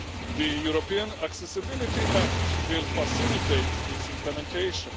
The European Accessibility Act will facilitate its implementation.